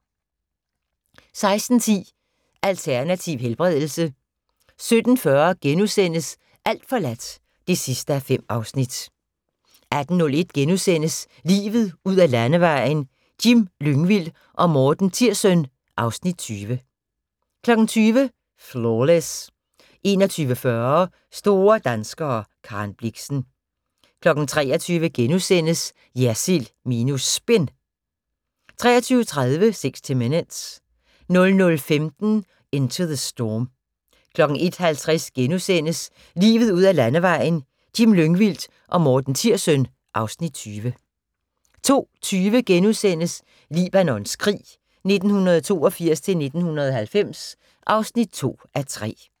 16:10: Alternativ helbredelse 17:40: Alt forladt (5:5)* 18:01: Livet ud ad landevejen: Jim Lyngvild og Morten Tirssøn (Afs. 20)* 20:00: Flawless 21:40: Store danskere - Karen Blixen 23:00: JERSILD minus SPIN * 23:30: 60 Minutes 00:15: Into the Storm 01:50: Livet ud ad landevejen: Jim Lyngvild og Morten Tirssøn (Afs. 20)* 02:20: Libanons krig 1982-1990 (2:3)*